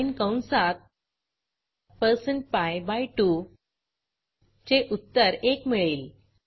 cin कंसात percent pi by 2 चे उत्तर 1 मिळेल